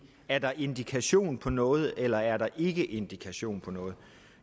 er der indikation på noget eller er der ikke er indikation på noget